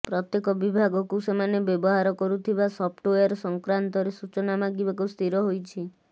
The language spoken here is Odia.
ପ୍ରତ୍ୟେକ ବିଭାଗକୁ ସେମାନେ ବ୍ୟବହାର କରୁଥିବା ସଫ୍ଟୱେର ସଂକ୍ରାନ୍ତରେ ସୂଚନା ମାଗିବାକୁ ସ୍ଥିର ହୋଇଛି